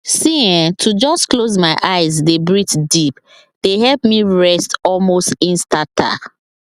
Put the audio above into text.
see[um]to just close my eyes dey breathe deep dey help me rest almost instanta